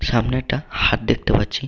সামনে একটা হাত দেখতে পাচ্ছি।